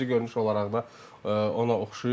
Xarici görünüş olaraq da ona oxşayır.